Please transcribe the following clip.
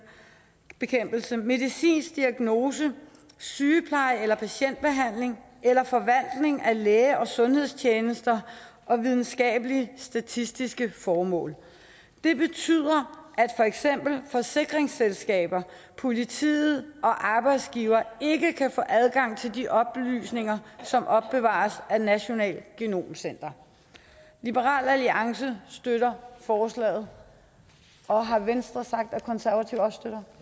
medicinsk diagnose sygepleje eller patientbehandling eller forvaltning af læge og sundhedstjenester og videnskabelige statistiske formål det betyder at for eksempel forsikringsselskaber politiet og arbejdsgivere ikke kan få adgang til de oplysninger som opbevares af det nationale genomcenter liberal alliance støtter forslaget har venstres sagt at konservative også støtter